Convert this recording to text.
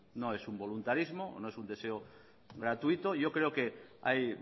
no es un voluntarismo no es un deseo gratuito yo creo que hay